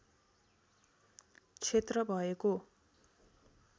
क्षेत्र भएको